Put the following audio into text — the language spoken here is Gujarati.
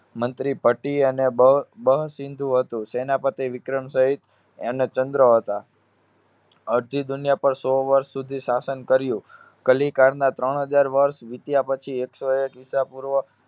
મંત્રીપતિ અને બ~બહસિંધુ હતું. સેનાપતિ વિક્રમ સહીત એનો ચંદ્ર હતા. અર્ધી દુનિયા પર સો વર્ષ સુધી શાસન કર્યું. કલીકારના ત્રણ હજાર વર્ષ વીત્યા પછી એક સો એક ઈસા પૂર્વ